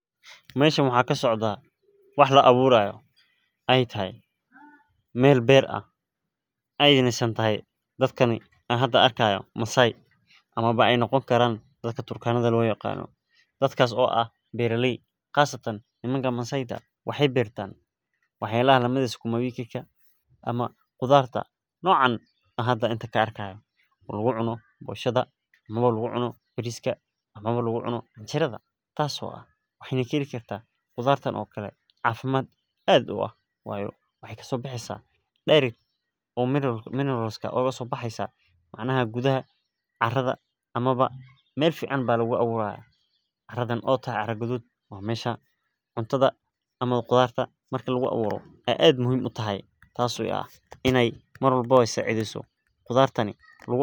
Meeshan waxaa kasocdaa wax la abuurayo aay tahay neel beer ah aay noqon karto dadka aan arkaayo masaay waxaay bertan sukuma wiki oo lagu cuno canjeerada iyo boshada saan arkaayo sait ayeey ufican tahay caradaan aad iyo aad ayeey muhiim utahay.